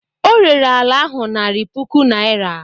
O rere ala ahụ narị puku naira.